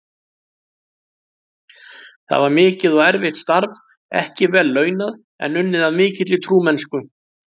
Það var mikið og erfitt starf, ekki vel launað, en unnið af mikilli trúmennsku.